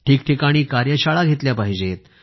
ठिकठिकाणी कार्यशाळा घेतल्या पाहिजेत